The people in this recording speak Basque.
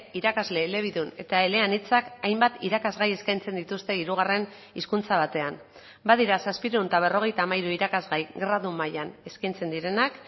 irakasle elebidun eta eleanitzak hainbat irakasgai eskaintzen dituzte hirugarren hizkuntza batean badira zazpiehun eta berrogeita hamairu irakasgai gradu mailan eskaintzen direnak